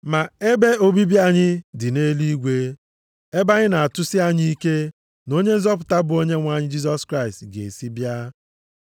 Ma ebe obibi anyị dị nʼeluigwe, ebe anyị na-atụsi anya ike na Onye nzọpụta bụ Onyenwe anyị Jisọs Kraịst ga-esi bịa.